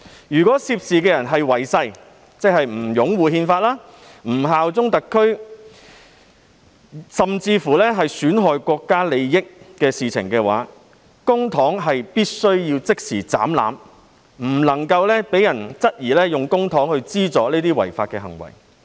如涉事人違誓，即不擁護憲法、不效忠特區，甚至作出損害國家利益的行為，公帑便須即時"斬纜"，以免有人質疑公帑被用作資助這些違法行為。